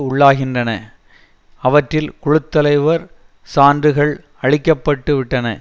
உள்ளாகின்றன அவற்றில் குழு தலைவர் சான்றுகள் அழிக்க பட்டு விட்டன